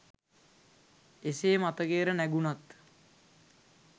එසේ මතකයට නැඟුනත්